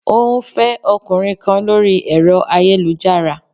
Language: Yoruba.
Ó ń fẹ́ ọkùnrin kan lórí ẹ̀rọ ayélujára